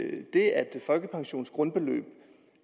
folkepensionens grundbeløb